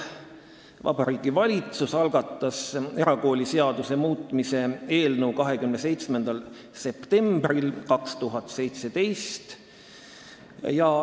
Vabariigi Valitsus algatas erakooliseaduse muutmise seaduse eelnõu 27. septembril 2017.